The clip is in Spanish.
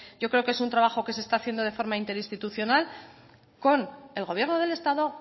yo creo que es un trabajo que se está haciendo de forma interinstitucional con el gobierno del estado